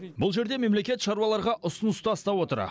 бұл жерде мемлекет шаруаларға ұсыныс тастап отыр